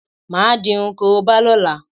Máà di irun korobá lọ́la